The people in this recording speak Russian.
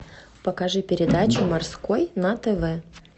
покажи передачу морской на тв